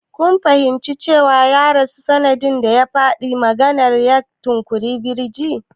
Kun fahimci cewa ya rasu sanda ya faɗi karin maganar "ya tunkuyi birji"?